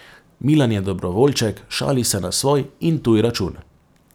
Milan je dobrovoljček, šali se na svoj in tuj račun.